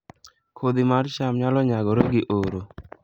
Kodhi mar cham nyalo nyagore gi oro